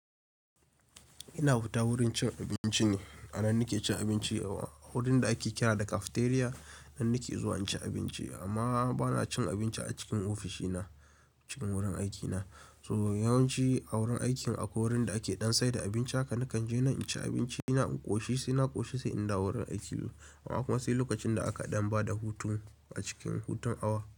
Ina fita wurin cin abinci ne, a nan nake cin abinci. A wurin da ake kira da cafeteria, nan nake zuwa inci abinci amma bana cin abinci a cikin ofishi na cikin wurin aikina. So yawanci a wurin aikin akwai wurin da ake ɗan saida abinci haka, nakan je nan in ci abinci na in ƙoshi sai na ƙoshi sai in dawo wurin aiki. Akwai kuma sai lokacin da aka ɗan bada hutun a cikin hutun awa.